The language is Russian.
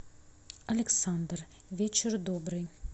александр вечер добрый